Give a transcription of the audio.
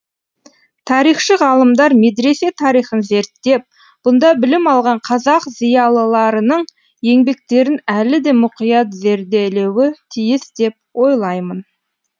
тарихшы ғалымдар медресе тарихын зерттеп бұнда білім алған қазақ зиялыларының еңбектерін әлі де мұқият зерделеуі тиіс деп ойлаймын